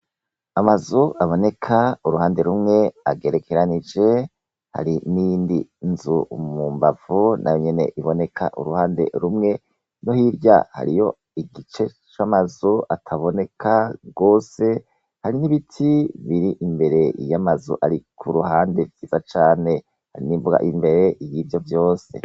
Amazu aboneka uruhande rumwe agerekeranije. Hari n'indi nzu mumbavu na yonyene iboneka uruhande rumwe no hirya hariyo igice c'amazu ataboneka rwose hari n'ibiti biri imbere y'amazu ari ku ruhande byiza cane, hari n'imbuga imbere iyivyo vyose.